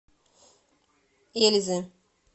эльзы